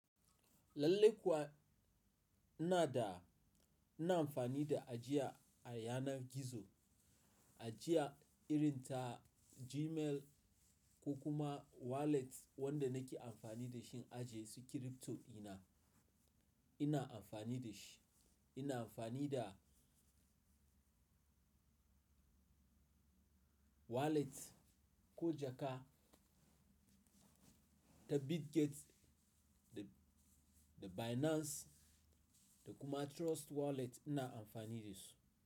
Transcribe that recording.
Lallai kuwa ina da ina amfani da ajiya a yanar gizo, ajiya irin ta Gmail ko kuma wallet wanda nake amfani da shi a aje su crypto ina, ina amfani da shi. Ina amfani da wallet ko jaka ta Bitget, da Binance da kuma Trust Wallet ina amfani da su.